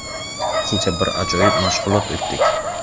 Kecha bir ajoyib mashg‘ulot o‘tdik.